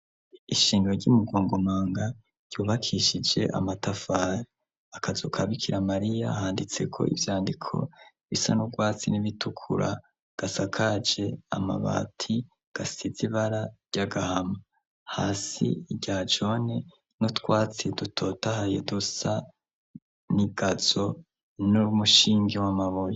Ishingra ry'umugongumanga ryubakishije amatafara akazokabikira mariya handitseko ivyandiko bisa n'urwatsi n'ibitukura gasa kaje amabati gasizibara ry'agahama hasi rya jone no twatsi dutotahaye dusa n igazo inora umushingi we amaboye.